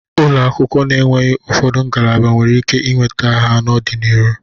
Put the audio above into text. Ụlọakwụ na-enweghi ụfọdụ ngalaba nwere ike inweta ha n'ọdị n'iru.